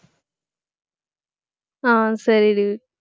ஆஹ் சரிடி